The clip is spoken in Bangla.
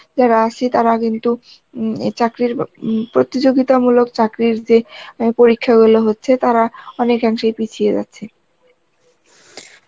যারা আছে তারা কিন্তু উম এ চাকরির উম প্রতিযোগিতা মূলক চাকরির যে, পরীক্ষা গুলো হচ্ছে তারা অনেক অংশেই পিছিয়ে যাচ্ছে.